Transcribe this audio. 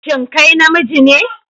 Shin kai namiji ne?